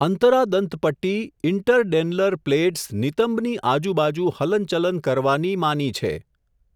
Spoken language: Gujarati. અંતરાદંતપટ્ટી, ઈન્ટર ડેન્લર પ્લેટ્સ નિતંબની આજુબાજુ હલન ચલન કરવાની માની છે.